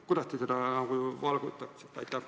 Kuidas te seda valgustaksite?